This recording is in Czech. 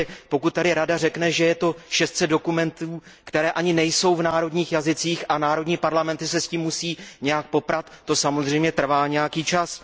Pokud tady Rada řekne, že je to 600 dokumentů, které ani nejsou v úředních jazycích, a národní parlamenty se s tím musí nějak poprat, tak to samozřejmě trvá nějaký čas.